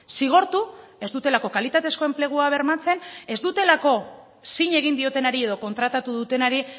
zigortu ez dutelako kalitatezko enplegua bermatzen ez dutelako zin egin diotenari edo kontratatu dutenari